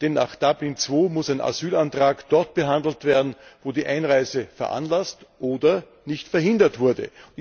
Denn nach Dublin II muss ein Asylantrag dort behandelt werden, wo die Einreise veranlasst oder nicht verhindert wurde.